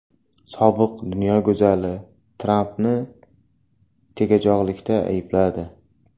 Sobiq dunyo go‘zali Trampni tegajog‘likda aybladi.